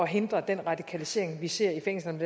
hindre den radikalisering vi ser i fængslerne